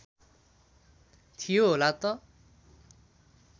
थियो होला त